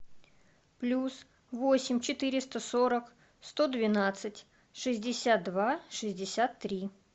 плюс восемь четыреста сорок сто двенадцать шестьдесят два шестьдесят три